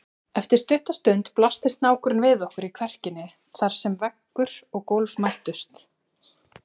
Eftir stutta stund blasti snákurinn við okkur í kverkinni þar sem veggur og gólf mættust.